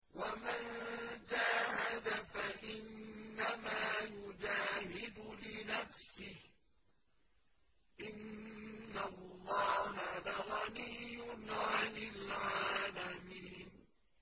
وَمَن جَاهَدَ فَإِنَّمَا يُجَاهِدُ لِنَفْسِهِ ۚ إِنَّ اللَّهَ لَغَنِيٌّ عَنِ الْعَالَمِينَ